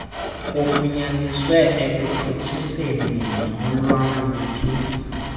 kufunyaniswe ekutshutshiseni nolwaluphi